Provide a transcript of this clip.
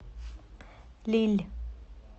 лилль